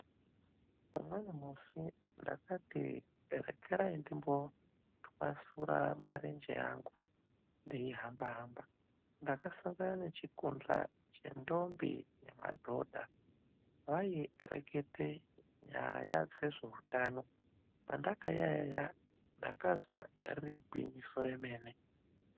Umweni musi ndakati rekerai ndimbotwasura marenje angu ndeihamba hamba. Ndakasangana nechikundla chendombi nemadhonda. Vairekete nyaya dzezveutano. Pandakayaiya ndakazwa riri gwinyiso remene.